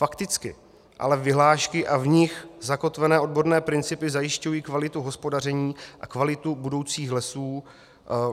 Fakticky ale vyhlášky a v nich zakotvené odborné principy zajišťují kvalitu hospodaření a kvalitu budoucích lesů.